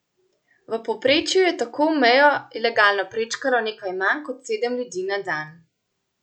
V povprečju je tako mejo ilegalno prečkalo nekaj manj kot sedem ljudi na dan.